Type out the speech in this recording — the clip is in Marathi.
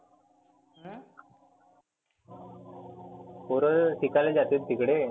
पोरं शिकायला जातात तिकडे.